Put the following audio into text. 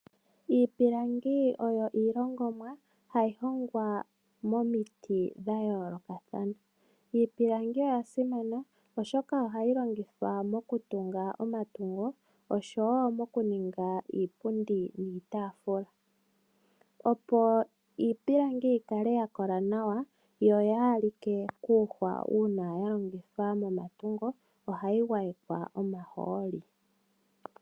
Iipilangi oyo iihongomwa hayihongwa momiti dhayoloka thana, iipilangi oya simana oshoka ohayi longithwa mokutunga omatungo osho wo mokuninga iipundi niitafula , opo iipilangi yikale yakola nawa yo oyalike kuuhwa una yalongithwa momatungo ohayi ngwayekwa omaholi.